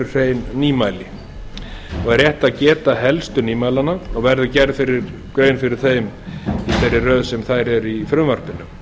hrein nýmæli er rétt að geta helstu nýmælanna og verður grein gerð fyrir þeim í þeirri röð sem þær eru í frumvarpinu